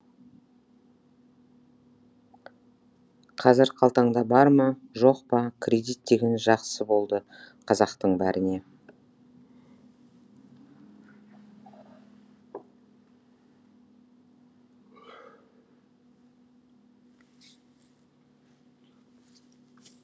қазір қалтаңда бар ма жоқ па кредит деген жақсы болды қазақтың бәріне